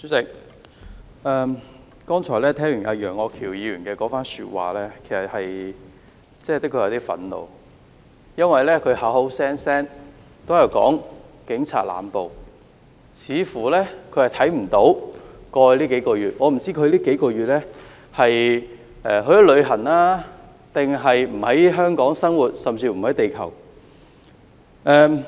主席，我剛才聽完楊岳橋議員的發言，的確有點憤怒，因為他口口聲聲說警察濫捕，似乎他看不到過去數個月的情況，我不知道他過去數個月是否去了旅行，還是不在香港生活，甚至是不在地球？